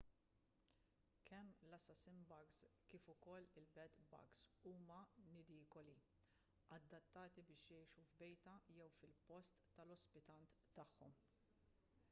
kemm l-assassin-bugs kif ukoll il-bed-bugs huma nidikoli adattati biex jgħixu f'bejta jew fil-post tal-ospitant tagħhom